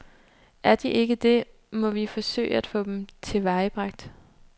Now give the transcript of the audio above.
Er de ikke det, må vi forsøge at få dem tilvejebragt.